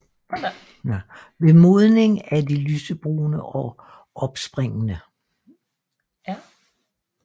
Ved modning er de lysebrune og opspringende